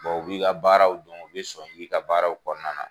Bon u b'i ka baaraw don, o bɛ sɔn i ka baaraw kɔnɔna na.